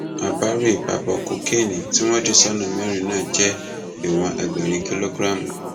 àbárèbábọ kokéènì tí wọn dì sọnà mẹrin náà jẹ ìwọn ẹgbẹrin kìlógíráàmù